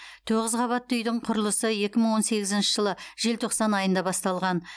тоғыз қабатты үйдің құрылысы екі мың он сегізінші жылы желтоқсан айында басталған